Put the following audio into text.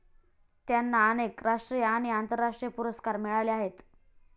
त्यांना अनेक राष्ट्रीय आणि आंतरराष्ट्रीय पुरस्कार मिळाले आहेत